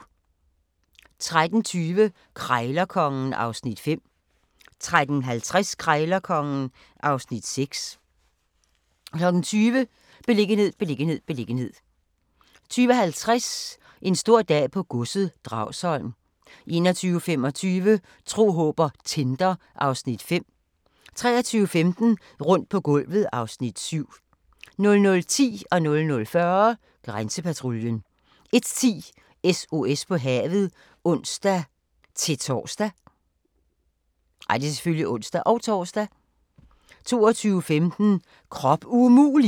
13:20: Krejlerkongen (Afs. 5) 13:50: Krejlerkongen (Afs. 6) 20:00: Beliggenhed, beliggenhed, beliggenhed 20:50: En stor dag på godset - Dragsholm 21:25: Tro, håb & Tinder (Afs. 5) 23:15: Rundt på gulvet (Afs. 7) 00:10: Grænsepatruljen 00:40: Grænsepatruljen 01:10: SOS på havet (ons-tor) 02:15: Krop umulig!